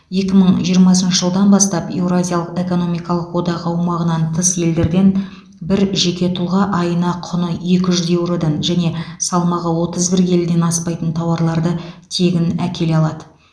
екі мың жиырмасыншы жылдан бастап еуразиялық экономикалық одақ аумағынан тыс елдерден бір жеке тұлға айына құны екі жүз еуродан және салмағы отыз бір келіден аспайтын тауарларды тегін әкеле алады